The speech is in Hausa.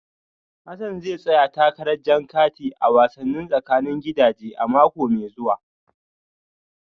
Hassan zai tsaya takarar jan kati a wasannin tsakanin gidaje a mako mai zuwa